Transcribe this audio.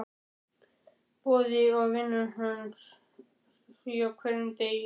Boði: Og vinnurðu að því á hverjum degi?